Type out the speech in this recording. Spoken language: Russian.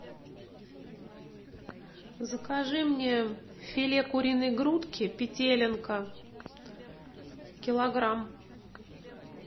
закажи мне филе куриной грудки петелинка килограмм